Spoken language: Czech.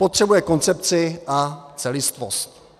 Potřebuje koncepci a celistvost.